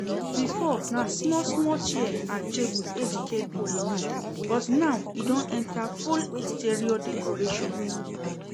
Before na small small chair and table Ejike bin dey make but now e don enter full interior decoration